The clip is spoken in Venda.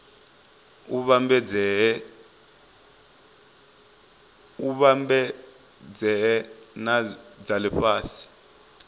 u vhambedzea na dza lifhasi